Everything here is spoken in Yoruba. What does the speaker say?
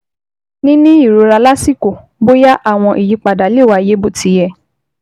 Níní ìrora lásìkò bóyá àwọn ìyípadà lè wáyé bó ti yẹ